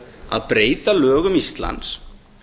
að breyta lögum íslands